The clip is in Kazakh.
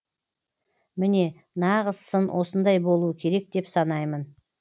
міне нағыз сын осындай болуы керек деп санаймын